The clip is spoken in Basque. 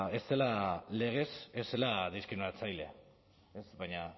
legez ez zela diskriminatzaile baina